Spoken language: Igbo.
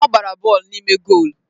Ọ gbara bọọlụ n'ime goolu.